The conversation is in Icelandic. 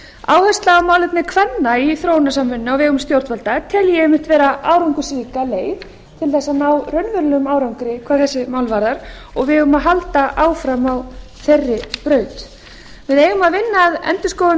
áherslu á málefni kvenna í þróunarsamvinnunni á vegum stjórnvalda tel ég einmitt vera árangursríka leið til þess að ná raunverulegum árangri hvað þessi mál varðar og við eigum að halda áfram á þeirri braut við eigum að vinna